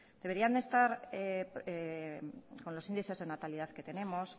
deberían estar con los índices de natalidad que tenemos